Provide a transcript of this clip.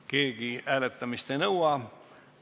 Keegi hääletamist ei nõua.